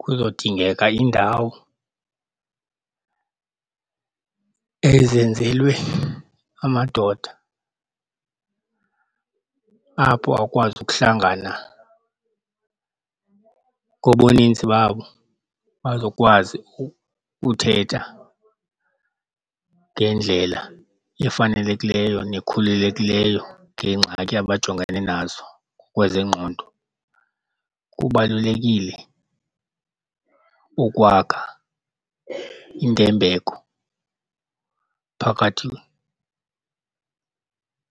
Kuzodingeka iindawo ezenzelwe amadoda apho awukwazi ukuhlangana ngobuninzi babo bazokwazi ukuthetha ngendlela efanelekileyo nekhululekileyo ngeengxaki abajongene nazo ngokwezengqondo. Kubalulekile ukwakha intembeko phakathi